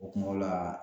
O kuma o la